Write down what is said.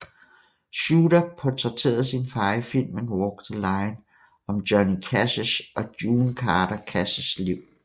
Shooter portrætterede sin far i filmen Walk the Line om Johnny Cashs og June Carter Cashs liv